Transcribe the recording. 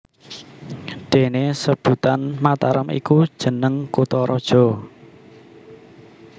Déné sebutan Mataram iku jeneng kutharaja